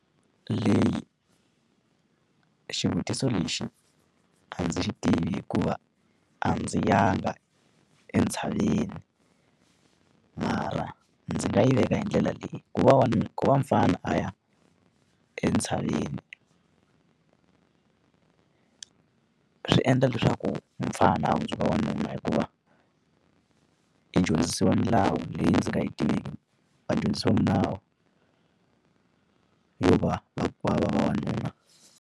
Leyi, xivutiso lexi a ndzi swi tivi hikuva a ndzi yanga entshaveni, mara ndzi nga yi veka hi ndlela leyi. Ku va ku va mufana a ya entshaveni swi endla leswaku mufana a hundzuka vavanuna hikuva, i dyondzisiwa milawu leyi ndzi nga yi tiveki. Va dyondzisiwa milawu yo va va va vavanuna.